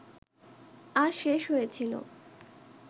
আর শেষ হয়েছিল